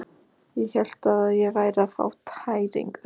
Ég hélt ég væri að fá tæringu.